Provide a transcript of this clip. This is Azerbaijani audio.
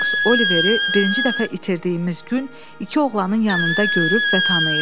Monks Oliveri birinci dəfə itirdiyimiz gün iki oğlanın yanında görüb və tanıyıb.